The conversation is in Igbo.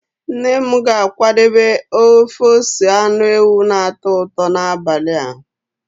Nne m ga-akwadebe ofe ose anụ ewu na-atọ ụtọ n'abalị a.